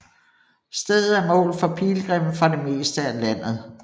Stedet er mål for pilgrimme fra det meste af landet